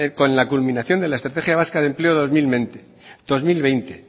con la culminación de la estrategia vasca de empleo dos mil veinte